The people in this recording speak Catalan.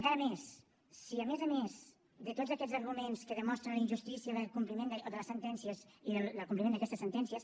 encara més si a més a més de tots aquests arguments que demostren la injustícia de les sentències i del compliment d’aquestes sentències